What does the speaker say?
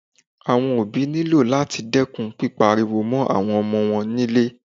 Àwọn òbí ní lò láti dẹ́kun pípá ariwo mọ́ àwọn ọmọ wọn ní ilé